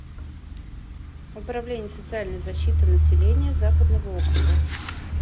управление социальной защиты населения западного округа